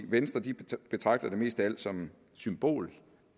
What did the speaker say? venstre betragtede det mest af alt som en symbolsk